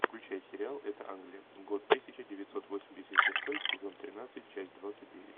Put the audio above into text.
включай сериал это англия год тысяча девятьсот восемьдесят шестой сезон тринадцать часть двадцать девять